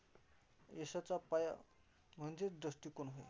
यशाचा पाया म्हणजेच दृष्टीकोन होय.